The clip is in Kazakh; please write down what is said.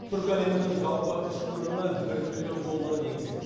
түркі әлемінің жалпы ішкі өнімі бір триллион долларды еңсереді